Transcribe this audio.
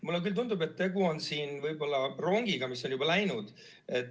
Mulle küll tundub, et siin on tegu rongiga, mis on juba läinud.